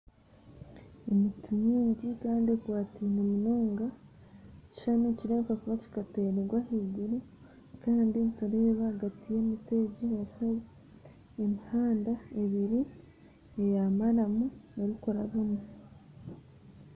Emiti mingi kandi ekwataine munonga, ekishushani nikireebeka kuba kyateereirwe ahaiguru kandi nitureeba ahagati y'emiti egi harimu emihanda ebiri eya maramu erikurabamu